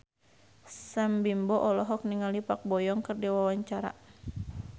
Sam Bimbo olohok ningali Park Bo Yung keur diwawancara